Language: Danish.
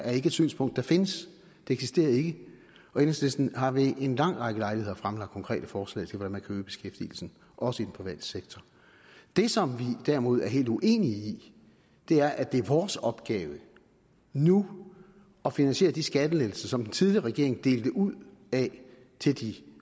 er ikke et synspunkt der findes det eksisterer ikke enhedslisten har ved en lang række lejligheder fremlagt konkrete forslag til hvordan man kan øge beskæftigelsen også i den private sektor det som vi derimod er helt uenige i er at det er vores opgave nu at finansiere de skattelettelser som den tidligere regering delte ud af til de